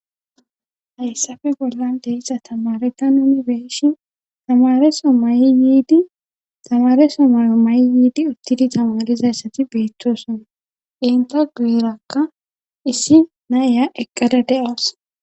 Hayssafe bollan deessa tamareta nomi beeshin tamareso mayyiidi tamareso mayo may7 yiidi uttidi tamarizassati beettosona inta guuerakka issi na iya eqqada de7as